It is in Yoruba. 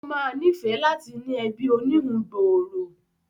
Ó ma níìfẹ́ láti ní ẹbí oníhun gbòòrò